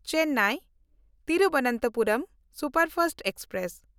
Chennai Thiruvananthapuram superfast express